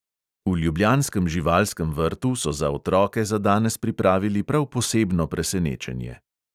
V ljubljanskem živalskem vrtu so za otroke za danes pripravili prav posebno presenečenje.